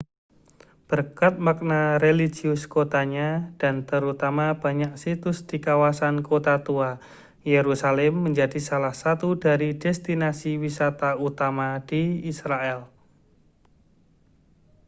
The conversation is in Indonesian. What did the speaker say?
berkat makna religius kotanya dan terutama banyak situs di kawasan kota tua yerusalem menjadi salah satu dari destinasi wisata utama di israel